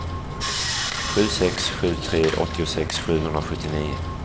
sju sex sju tre åttiosex sjuhundrasjuttionio